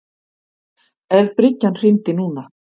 Ef bryggjan hryndi núna.